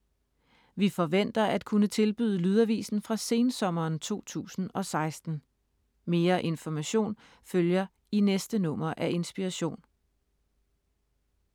Vi forventer at kunne tilbyde lydavisen fra sensommeren 2016. Mere information følger i næste nummer af Inspiration.